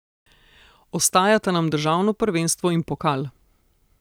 Ostajata nam državno prvenstvo in pokal.